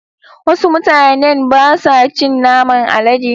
Wasu mutanen ba sa cin naman Alade